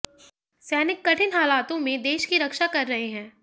सैनिक कठिन हालातों में देश की रक्षा कर रहे हैं